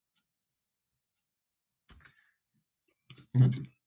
ਹਾਂਜੀ।